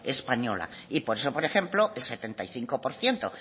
española y por eso por ejemplo el setenta y cinco por ciento